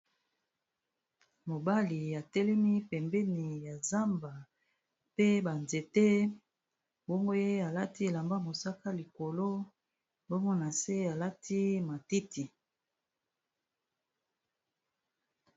Mobali atelemi pembeni ya zamba pe banzete mbongoye alati elamba mosaka, likolo mbongo na se alati matiti.